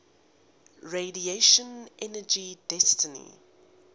radiation energy density